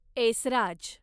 Esraj